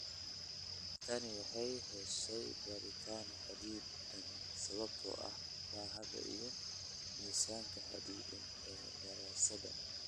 Tani waxay heshay baaritaan xaddidan sababtoo ah baaxadda iyo miisaanka xaddidan ee daraasadaha.